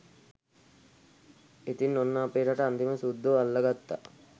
ඉතින් ඔන්න අපේ රට අන්තිමට සුද්දෝ අල්ල ගත්තා